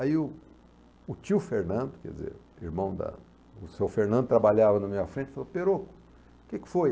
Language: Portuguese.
Aí o o tio Fernando, quer dizer, o irmão da... O seu Fernando trabalhava na minha frente e falou, Peroco, o que que foi?